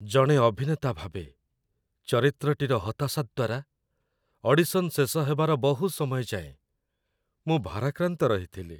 ଜଣେ ଅଭିନେତା ଭାବେ, ଚରିତ୍ରଟିର ହତାଶା ଦ୍ଵାରା, ଅଡିସନ୍ ଶେଷ ହେବାର ବହୁ ସମୟ ଯାଏଁ, ମୁଁ ଭାରାକ୍ରାନ୍ତ ରହିଥିଲି।